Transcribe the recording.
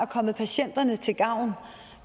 kommet patienterne til gavn